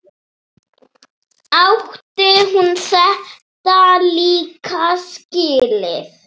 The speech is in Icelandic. Átti hún þetta líka skilið?